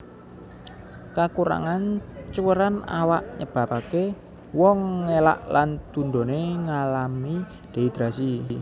Kakurangan cuwèran awak nyebabaké wong ngelak lan tundoné ngalami dehidrasi